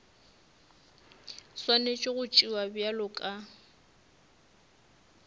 swanetše go tšewa bjalo ka